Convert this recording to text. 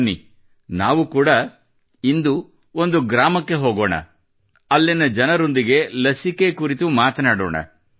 ಬನ್ನಿ ನಾವು ಕೂಡಾ ಇಂದು ಒಂದು ಗ್ರಾಮಕ್ಕೆ ಹೋಗೋಣ ಮತ್ತು ಅಲ್ಲಿನ ಜನರೊಂದಿಗೆ ಲಸಿಕೆ ಕುರಿತು ಮಾತನಾಡೋಣ